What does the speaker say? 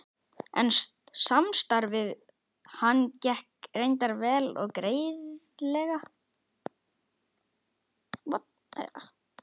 En samstarfið við hann gekk reyndar vel og greiðlega.